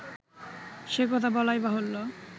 সে-কথা বলাই বাহুল্য